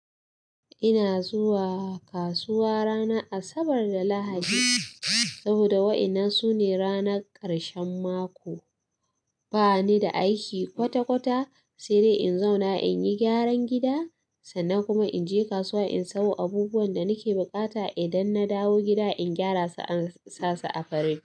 Ina zuwa kasuwa ranar Asabar da Lahadi saboda wa'inan su ne ranar karshen mako. Ba ni da aiki kwata-kwata, sai dai in zauna in yi gyaran gida, sannan kuma in je kasuwa in sayo abubuwan da nake buƙata. Idan na dawo gida in gyara su an sa su a farin.